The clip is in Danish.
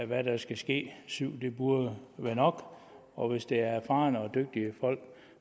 hvad der skal ske syv burde være nok og hvis det er erfarne og dygtige folk